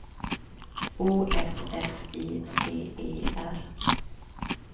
O F F I C E R